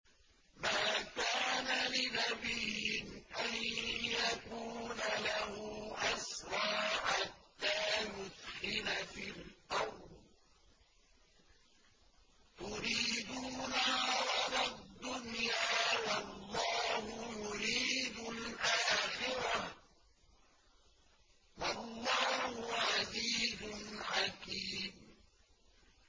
مَا كَانَ لِنَبِيٍّ أَن يَكُونَ لَهُ أَسْرَىٰ حَتَّىٰ يُثْخِنَ فِي الْأَرْضِ ۚ تُرِيدُونَ عَرَضَ الدُّنْيَا وَاللَّهُ يُرِيدُ الْآخِرَةَ ۗ وَاللَّهُ عَزِيزٌ حَكِيمٌ